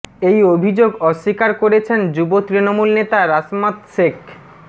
এই অভিযোগ অস্বীকার করেছেন যুব তৃণমূল নেতা রাসমত সেখ